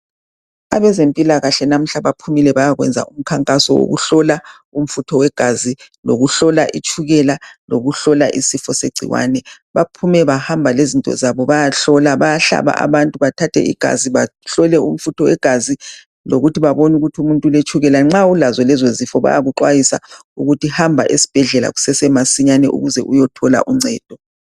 Abezempilakahle namuhla baphumile bayakwenza umkhankaso wokuhlola umfutho wegazi ,lokuhlola itshukela ,lokuhlola isifo segciwane .Baphume bahamba lezinto zabo bayahlola .Bayahlaba abantu bathathe igazi bahlole umfutho wegazi lokuthi babone ukuthi umuntu uletshukela .Nxa ulazo lezozifo bayakuxwayisa ukuthi hamba esibhedlela kusesemasinyane ukuze uyethola uncedo .